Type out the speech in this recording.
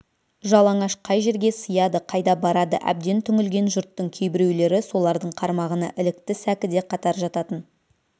жалаңаш қай жерге сыяды қайда барады әбден түңілген жұрттың кейбіреулері солардың қармағына ілікті сәкіде қатар жататын